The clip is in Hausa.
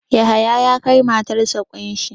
Yahaya ya kai matarsa ƙunshi.